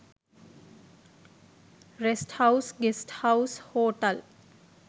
rest house guest house hotel